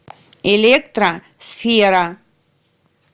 электро сфера